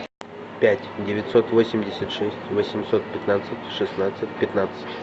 пять девятьсот восемьдесят шесть восемьсот пятнадцать шестнадцать пятнадцать